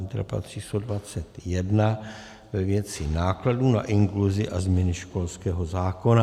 Interpelace číslo 21 ve věci nákladů na inkluzi a změny školského zákona.